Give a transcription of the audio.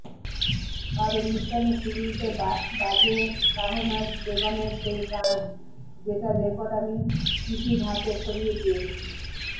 আর অনুষ্ঠানের শুরুতে বাজে শাহনাজ বেগমের সেই গান যেটার রেকর্ড আমি কিটির হাতে সরিয়ে দিয়েছি